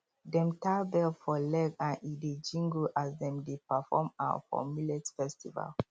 dem tie bell for leg and e dey jingle as dem dey perform um for millet festival